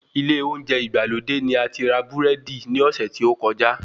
Ilé olóúnjẹ ìgbàlódé ní ati rà búrẹ́dí ní ọ́sẹ́ ti ókọjá